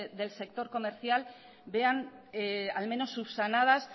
del sector comercial vean al menos subsanadas